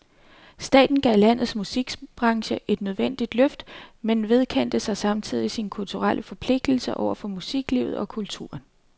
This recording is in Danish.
Staten gav landets musikbranche et nødvendigt løft, men vedkendte sig samtidig sin kulturelle forpligtelse over for musiklivet og kulturen.